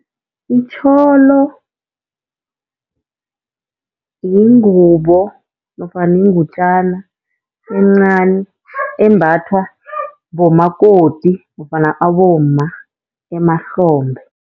Itjholo yingubo nofana yingutjana encani embathwa bomakoti nofana abomma emahlombe.